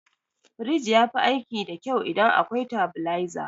Firij yafi aiki da kyau idan akwai tabileza.